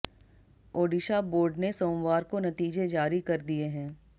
Odisha board ने सोमवार को नतीजे जारी कर दिए हैं